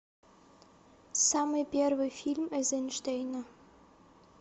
самый первый фильм эйзенштейна